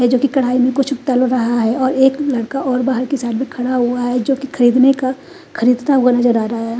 है जोकि कड़ाही में कुछ तल रहा है और एक लड़का और बाहर की साइड में खड़ा हुआ है जोकि खरीदने का खरीदता हुआ नज़र आ रहा है।